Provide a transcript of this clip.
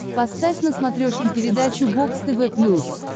поставь на смотрешке передачу бокс тв плюс